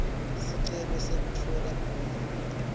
sicelo sekutfola buve